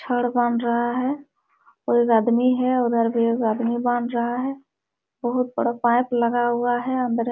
छड़ बांध रहा है और एक आदमी है और उधर भी एक आदमी बांध रहा है बहुत बड़ा पाइप लगा हुआ है अंदरे --